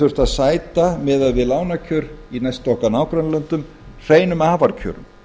þurft að sæta miðað við lánakjör í næstu okkar nágrannalöndum hreinum afarkjörum